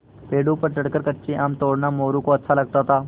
पेड़ों पर चढ़कर कच्चे आम तोड़ना मोरू को अच्छा लगता था